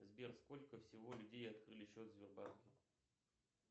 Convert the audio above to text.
сбер сколько всего людей открыли счет в сбербанке